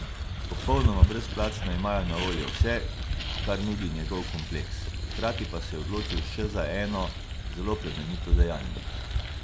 Popolnoma brezplačno imajo na voljo vse, kar nudi njegov kompleks, hkrati pa se je odločil še za eno zelo plemenito dejanje.